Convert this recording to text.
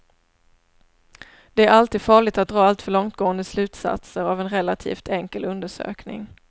Det är alltid farligt att dra alltför långtgående slutsatser av en relativt enkel undersökning.